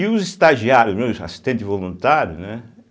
E os estagiários, assistente voluntário, né?